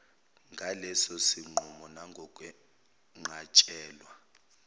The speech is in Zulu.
ngaleso sinqumo nangokwenqatshelwa